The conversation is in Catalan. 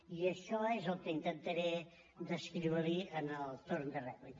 i això és el que intentaré descriure li en el torn de rèplica